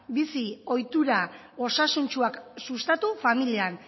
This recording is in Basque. bizi ohitura osasuntsuak sustatu familian